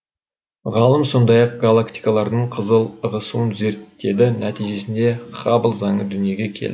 ғалым сондай ақ галактикалардың қызыл ығысуын зерттеді нәтижесінде хаббл заңы дүниеге келді